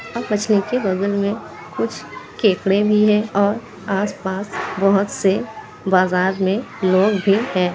और मछली के बगल में कुछ केकड़े भी हैं और आसपास बहुत से बाजार में लोग भी हैं।